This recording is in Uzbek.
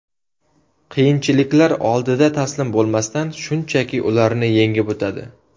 Qiyinchiliklar oldida taslim bo‘lmasdan, shunchaki ularni yengib o‘tadi.